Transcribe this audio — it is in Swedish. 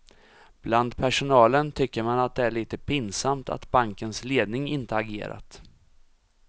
Bland personalen tycker man att det är lite pinsamt att bankens ledning inte agerat.